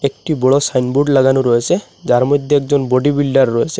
একটি বড় সাইনবোর্ড লাগানো রয়েসে যার মইধ্যে একজন বডি বিল্ডার রয়েসে।